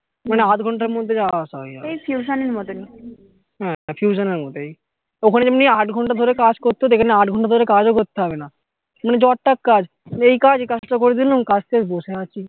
মানে আধ ঘন্টার মধ্যে যাওয়া আসা হয়ে যাবে হ্যা টিউশন এর মতোই ওখানে যেমনি আট ঘন্টা ধরে কাজ করতে হতো এখানে আট ঘন্টা ধরে কাজ ও করতে হবে না মানে য টা কাজ এই কাজ এই কাজ টা করে দিলাম এখন কাজ শেষ বসে আছি